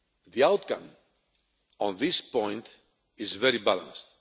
The outcome on this point is very balanced.